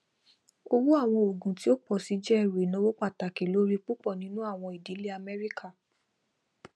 owó àwọn òògùn tí ó pọ sí jẹ ẹrù ináwó pàtàkì lórí púpọ nínú àwọn ìdílé amẹrika